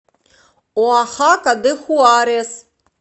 оахака де хуарес